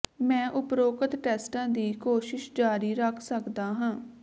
ਮੈਂ ਉਪਰੋਕਤ ਟੈਸਟਾਂ ਦੀ ਕੋਸ਼ਿਸ਼ ਜਾਰੀ ਰੱਖ ਸਕਦਾ ਹਾਂ